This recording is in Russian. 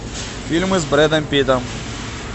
фильмы с брэдом питтом